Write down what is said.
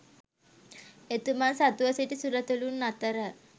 එතුමන් සතුව සිටි සුරතලූන් අතර